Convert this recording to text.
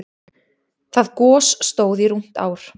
Það gos stóð í rúmt ár.